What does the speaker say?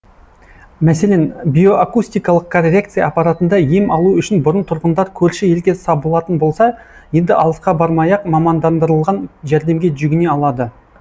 мәселен биоакустикалық коррекция аппаратында ем алу үшін бұрын тұрғындар көрші елге сабылатын болса енді алысқа бармай ақ мамандандырылған жәрдемге жүгіне алады